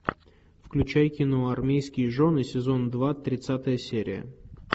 включай кино армейские жены сезон два тридцатая серия